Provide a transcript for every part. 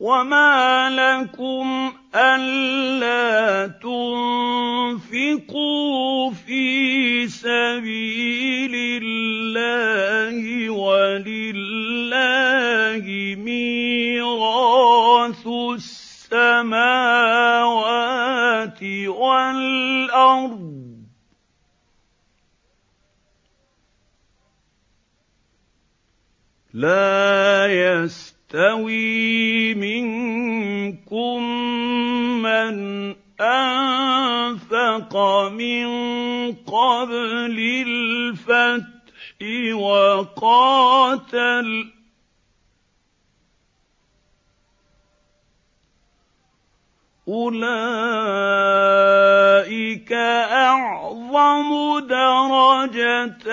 وَمَا لَكُمْ أَلَّا تُنفِقُوا فِي سَبِيلِ اللَّهِ وَلِلَّهِ مِيرَاثُ السَّمَاوَاتِ وَالْأَرْضِ ۚ لَا يَسْتَوِي مِنكُم مَّنْ أَنفَقَ مِن قَبْلِ الْفَتْحِ وَقَاتَلَ ۚ أُولَٰئِكَ أَعْظَمُ دَرَجَةً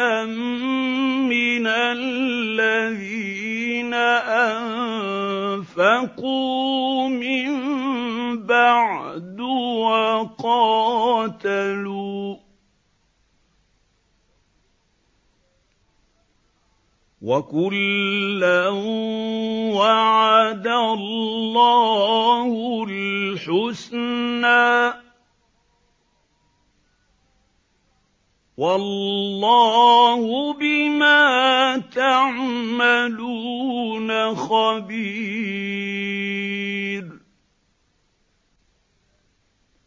مِّنَ الَّذِينَ أَنفَقُوا مِن بَعْدُ وَقَاتَلُوا ۚ وَكُلًّا وَعَدَ اللَّهُ الْحُسْنَىٰ ۚ وَاللَّهُ بِمَا تَعْمَلُونَ خَبِيرٌ